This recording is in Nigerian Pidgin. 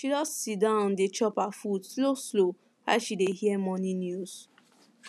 she just siddon dey chop her food slow slow while she dey hear morning news